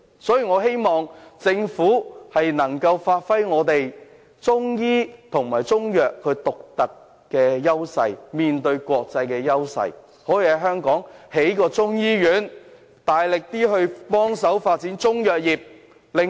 所以，我希望政府能夠發揮我們在中醫和中藥方面的獨特優勢，在香港興建一所中醫院，大力協助發展中藥業。